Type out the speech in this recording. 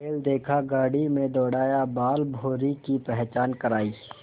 बैल देखा गाड़ी में दौड़ाया बालभौंरी की पहचान करायी